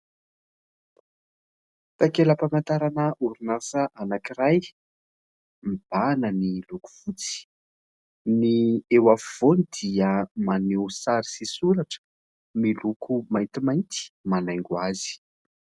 Takelam-pahamantarana orinasa anankiray ; mibahana ny loko fotsy, ny eo afovoany dia maneho sary sy soratra miloko maintimainty manaingo azy.